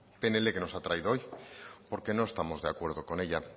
pnl que nos ha traído hoy porque no estamos de acuerdo con ella